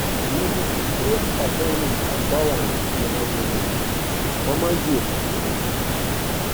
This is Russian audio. нужно сестре пополнить баланс на мобильном помоги это сделать